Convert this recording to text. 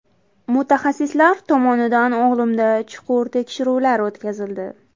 Mutaxassislar tomonidan o‘g‘limda chuqur tekshiruvlar o‘tkazildi.